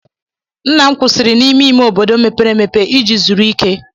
Nna m kwụsịrị n'ime ime obodo mepere emepe iji zuru ike.